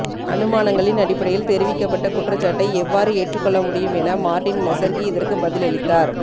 அனுமானங்களின் அடிப்படையில் தெரிவிக்கப்பட்ட குற்றச்சாட்டை எவ்வாறு ஏற்றுக்கொள்ளமுடியும் என மார்டின் நெசர்கி இதற்கு பதிலளித்தார்